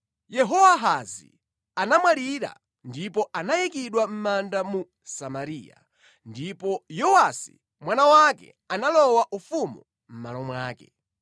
Yehowahazi anamwalira ndipo anayikidwa mʼmanda mu Samariya. Ndipo Yowasi mwana wake analowa ufumu mʼmalo mwake.